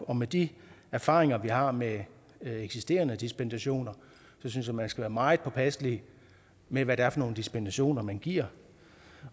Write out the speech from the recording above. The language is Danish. og med de erfaringer vi har med eksisterende dispensationer synes jeg man skal være meget påpasselig med hvad det er for nogle dispensationer man giver